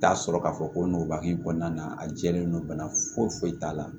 Taa sɔrɔ k'a fɔ ko n ba hinɛ kɔnɔna a jɛlen no bana foyi foyi t'a la